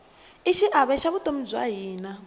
i xiave xa vutomi bya hina